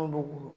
Anw b'u bolo